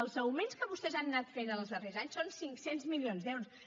els augments que vostès han anat fent en els darrers anys són cinc cents milions d’euros